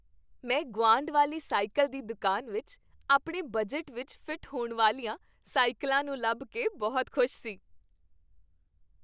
ਮੈਂ ਗੁਆਂਢ ਵਾਲੀ ਸਾਈਕਲ ਦੀ ਦੁਕਾਨ ਵਿੱਚ ਆਪਣੇ ਬਜਟ ਵਿੱਚ ਫਿੱਟ ਹੋਣ ਵਾਲੀਆਂ ਸਾਈਕਲਾਂ ਨੂੰ ਲੱਭ ਕੇ ਬਹੁਤ ਖੁਸ਼ ਸੀ।